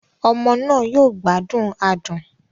Ọmọ náà yóò gbádùn adùn